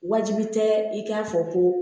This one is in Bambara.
Wajibi tɛ i k'a fɔ ko